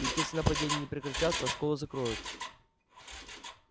ведь если нападения не прекратятся а школу закроют